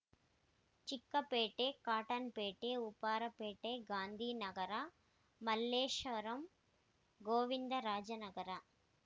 Chickpet Cottonpet Upparpet Gandhinagar Malleshwaram Govinda Raja Nagar